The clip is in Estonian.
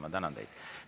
Ma tänan teid.